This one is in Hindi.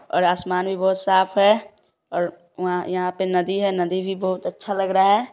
--और आसमान भी बहुत साफ़ है और व यहाँ पे नदी है नदी भी बहुत अच्छा लग रहा हैं।